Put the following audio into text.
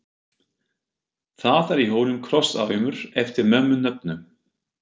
Það er í honum krosssaumur eftir mömmu nöfnu.